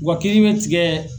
W kiri bɛ tigɛ.